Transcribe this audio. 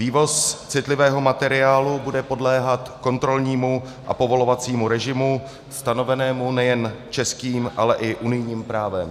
Vývoz citlivého materiálu bude podléhat kontrolnímu a povolovacímu režimu stanovenému nejen českým, ale i unijním právem.